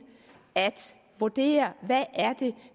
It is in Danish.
at vurdere hvad